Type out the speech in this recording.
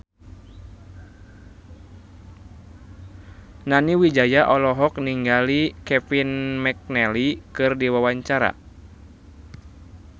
Nani Wijaya olohok ningali Kevin McNally keur diwawancara